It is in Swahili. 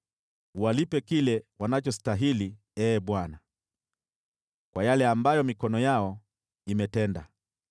Uwalipe kile wanachostahili, Ee Bwana , kwa yale ambayo mikono yao imetenda.